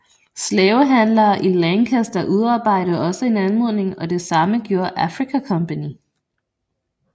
Slavehandlere i Lancaster udarbejdede også en anmodning og det samme gjorde Africa Company